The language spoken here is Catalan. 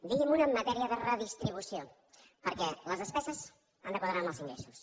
digui me’n una en matèria de redistribució perquè les despeses han de quadrar amb els ingressos